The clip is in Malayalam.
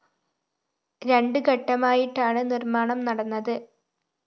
രണ്ട് ഘട്ടമായിട്ടാണ് നിര്‍മ്മാണം നടന്നത്